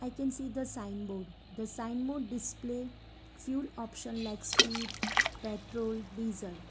i can see the sign board the sign board display few option like speed petrol diesel.